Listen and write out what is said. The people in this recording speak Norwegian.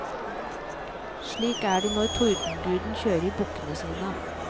Slik er det når tordenguden kjører bukkene sine.